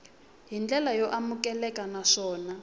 hi ndlela yo amukeleka naswona